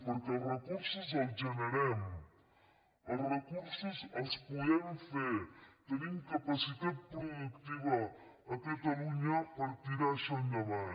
perquè els recursos els generem els recursos els podem fer tenim capacitat productiva a catalunya per tirar això endavant